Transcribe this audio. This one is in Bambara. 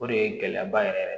O de ye gɛlɛyaba yɛrɛ yɛrɛ